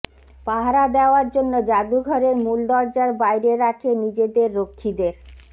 পাহারা দেওয়ার জন্য জাদুঘরের মূল দরজার বাইরে রাখে নিজেদের রক্ষীদের